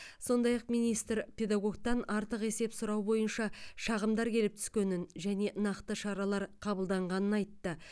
сондай ақ министр педагогтан артық есеп сұрау бойынша шағымдар келіп түскенін және нақты шаралар қабылданғанын айтты